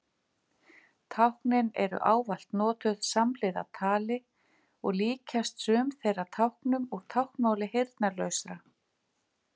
Táknin eru ávallt notuð samhliða tali og líkjast sum þeirra táknum úr táknmáli heyrnarlausra.